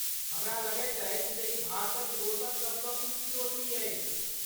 हमरा लगैत अछि जे ई भारतक दोसर सबसँ ऊँच चोटी अछि?